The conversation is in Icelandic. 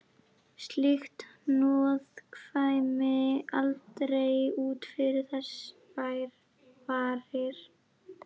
Slíkt hnoð kæmi aldrei út fyrir þess varir.